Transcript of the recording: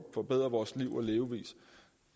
forbedre vores liv og levevis